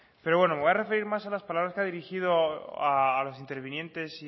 pero bueno me voy a referir más a las palabras que ha dirigido a los intervinientes